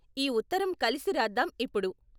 ఈ ఉత్తరం కలిసి రాద్దాం ఇప్పుడు.